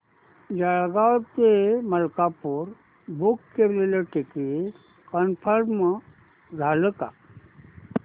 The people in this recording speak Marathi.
जळगाव ते मलकापुर बुक केलेलं टिकिट कन्फर्म झालं का